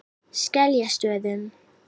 Skeljastöðum